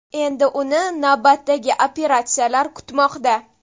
Endi uni navbatdagi operatsiyalar kutmoqda.